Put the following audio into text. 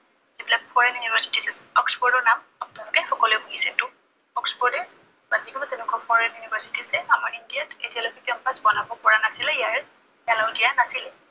যি বিলাক foreign university আছে অক্সফৰ্ডৰ নাম আপোনালোকে সকলোৱে শুনিছে। যিহেটো অক্সফৰ্ডে বা যি কোনো তেনেকুৱা foreign university আছে, আমাৰ ইণ্ডিয়াত এতিয়ালৈকে campus বনাব পৰা নাছিলে, ইয়াৰ allow দিয়া নাছিলে।